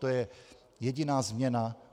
To je jediná změna.